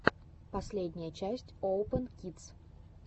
последняя часть оупэн кидс